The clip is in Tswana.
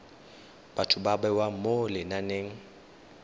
batho ba bewa mo lenaneng